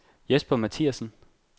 Jesper Mathiasen